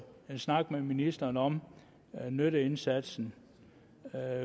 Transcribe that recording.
snak med ministeren om nytteindsatsen